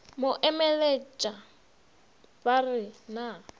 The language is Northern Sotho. mo emeletša ba re na